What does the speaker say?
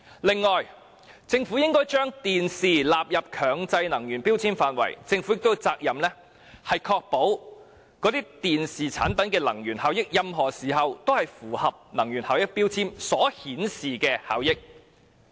此外，政府應該將電視機納入強制性標籤計劃的涵蓋範圍，並有責任確保電視產品的能源效益，在任何時候均符合能源標籤所顯示的效益。